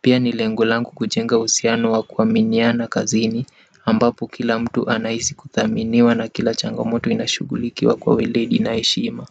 pia nile ngolangu kujenga uhusiano wa kuwa miniana kazini ambapo kila mtu anahisi kuthaminiwa na kila changamoto inashughulikiwa kwa uweledi na heshima.